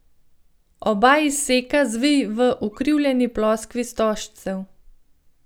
Oba izseka zvij v ukrivljeni ploskvi stožcev.